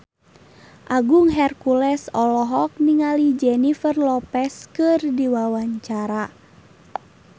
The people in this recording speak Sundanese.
Agung Hercules olohok ningali Jennifer Lopez keur diwawancara